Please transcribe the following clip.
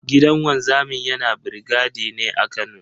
Gidan wanzamin yana brigade ne a Kano.